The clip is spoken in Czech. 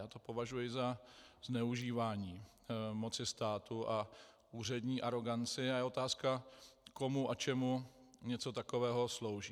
Já to považuji za zneužívání moci státu a úřední aroganci a je otázka, komu a čemu něco takového slouží.